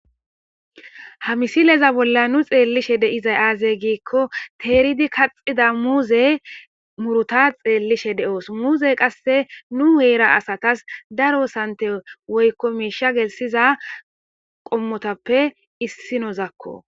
Ha misileza bolla nu xeellishe deizay aazey giikko teeridi kaxida muuze muruta xeellishe de'os muuze qasse nu heera asatas daro sante woykko miisha gelsiza qommotappe issi nozakko